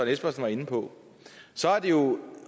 espersen var inde på